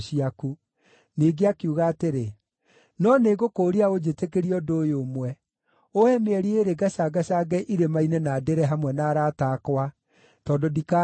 Ningĩ akiuga atĩrĩ, “No nĩngũkũũria ũnjĩtĩkĩrie ũndũ ũyũ ũmwe: Ũũhe mĩeri ĩĩrĩ ngacangacange irĩma-inĩ na ndĩre hamwe na arata akwa, tondũ ndikaahika.”